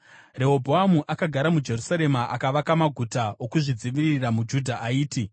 Rehobhoamu akagara muJerusarema akavaka maguta okuzvidzivirira muJudha aiti: